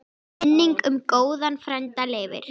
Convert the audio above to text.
Minning um góðan frænda lifir.